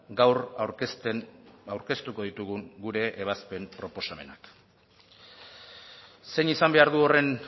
gaur aurkezten aurkeztuko ditugun gure ebazpen proposamenak zein izan behar du horren